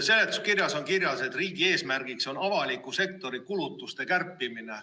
Seletuskirjas on kirjas, et riigi eesmärgiks on avaliku sektori kulutuste kärpimine.